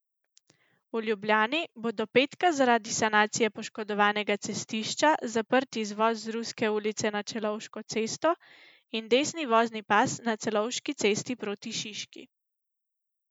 V Ljubljani bo do petka zaradi sanacije poškodovanega cestišča zaprt izvoz z Ruske ulice na Celovško cesto in desni vozni pas na Celovški cesti proti Šiški.